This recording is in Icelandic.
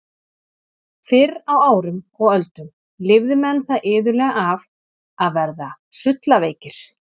Fyrr á árum og öldum lifðu menn það iðulega af að verða sullaveikir.